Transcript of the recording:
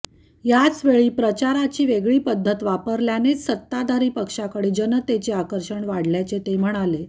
यावेळी प्रचाराची वेगळी पद्धत वापल्यानेच सत्ताधारी पक्षाकडे जनतेचे आकर्षण वाढल्याचे ते म्हणाले